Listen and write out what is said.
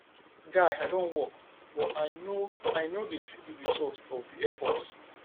guy i don work but i no i no dey see the result of the effort